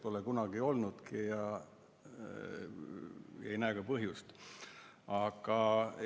Pole kunagi olnudki ja ei näe ka põhjust.